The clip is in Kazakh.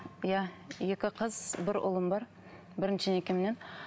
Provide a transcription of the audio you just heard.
иә екі қыз бір ұлым бар бірінші некемнен